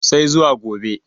sai zuwa gobe